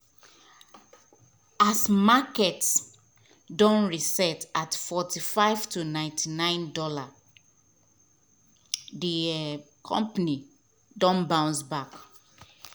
as market don reset at 45.99 dolla d um company don bounce back